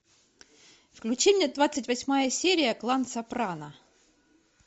включи мне двадцать восьмая серия клан сопрано